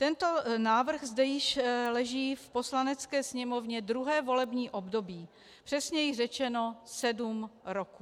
Tento návrh zde již leží v Poslanecké sněmovně druhé volební období, přesněji řečeno sedm roků.